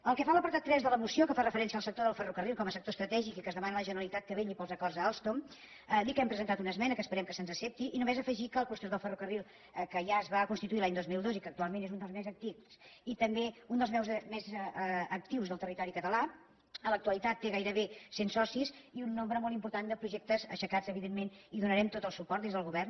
pel que fa a l’apartat tres de la moció que fa referència al sector del ferrocarril com a sector estratègic i que es demana a la generalitat que vetlli pels acords amb alstom dir que hem presentat una esmena que esperem que se’ns accepti i només afegir que el clúster del ferrocarril que ja es va constituir l’any dos mil dos i que actualment és un dels més antics i també un dels més actius del territori català en l’actualitat té gairebé cent socis i un nombre molt important de projectes aixecats evidentment i hi donarem tot el suport des del govern